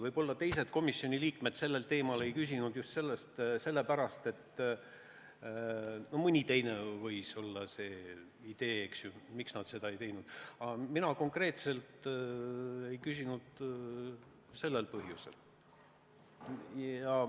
Võib-olla teised komisjoni liikmed ei küsinud sellel teemal ka just sellepärast või võis neil olla mõni teine põhjus, miks nad seda ei teinud, aga mina konkreetselt ei küsinud sellel põhjusel.